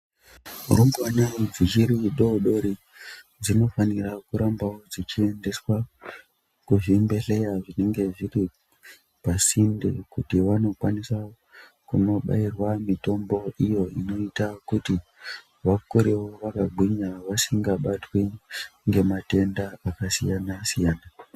Rumbwana dzichidodori dzinofanira kurambawo dzichiendeswa kuzvibhehleya zvinenge zviri pasinde kuti vanokwanisa kunobairwa mitombo iyo inoita kuti vakure wo vakagwinya vasingabatwi ngematenda akasiyanasiyana.